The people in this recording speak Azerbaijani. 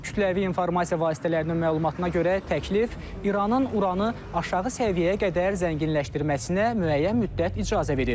Kütləvi informasiya vasitələrinin məlumatına görə təklif İranın uranı aşağı səviyyəyə qədər zənginləşdirməsinə müəyyən müddət icazə verir.